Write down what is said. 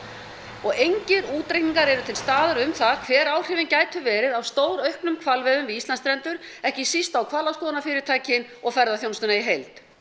og engir útreikningar eru til staðar um það hver áhrifin gætu verið af stórauknum hvalveiðum við Íslandsstrendur ekki síst á hvalaskoðunarfyrirtækin og ferðaþjónustuna í heild